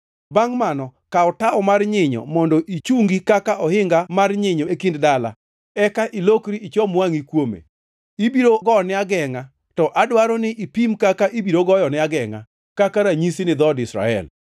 Bangʼ mano, kaw tawo mar nyinyo mondo ichungi kaka ohinga mar nyinyo e kindi gi dala, eka ilokri ichom wangʼi kuome. Ibiro gone agengʼa, to adwaro ni ipim kaka ibiro goyone agengʼa, kaka ranyisi ni dhood Israel.